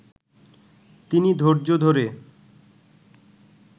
তিনি ধৈর্য ধরে